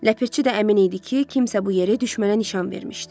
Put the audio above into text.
Ləpirçi də əmin idi ki, kimsə bu yeri düşmənə nişan vermişdi.